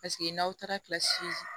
Paseke n'aw taara kilasi